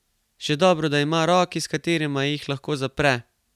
Še dobro, da ima roki, s katerima jih lahko zapre!